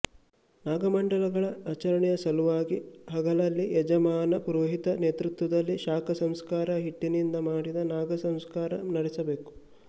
ನಾಗಮಂಡಲಗಳ ಆಚರಣೆಯ ಸಲುವಾಗಿ ಹಗಲಲ್ಲಿ ಯಜಮಾನ ಪುರೋಹಿತರ ನೇತೃತ್ವದಲ್ಲಿ ಶಾಕಾ ಸಂಸ್ಕಾರ ಹಿಟ್ಟಿನಿಂದ ಮಾಡಿದ ನಾಗಸಂಸ್ಕಾರ ನಡೆಸಬೇಕು